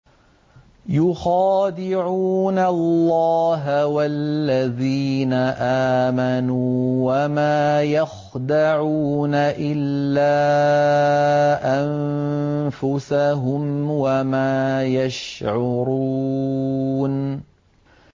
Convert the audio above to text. يُخَادِعُونَ اللَّهَ وَالَّذِينَ آمَنُوا وَمَا يَخْدَعُونَ إِلَّا أَنفُسَهُمْ وَمَا يَشْعُرُونَ